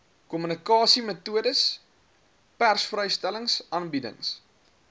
kommunikasiemetodes persvrystellings aanbiedings